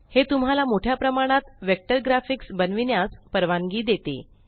हे तुम्हाला मोठया प्रमाणात वेक्टर ग्राफिक्स बनविन्यास परवानगी देते